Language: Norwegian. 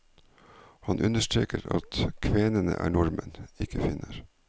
Han understreker at kvenene er nordmenn, ikke finner.